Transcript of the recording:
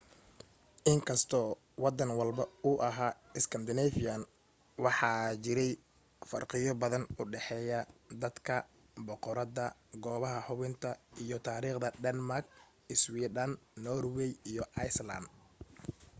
inkastoo waddan walba uu ahaa 'iskandaneefiyaan',waxaa jiray farqiyo badan oo u dhaxeeya dadka, boqorada goobaha hubinta iyo taariikhda dermak iswidhan norway iyo iceland